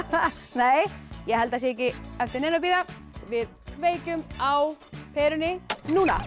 nei ég held að sé ekki eftir neinu að bíða við kveikjum á perunni núna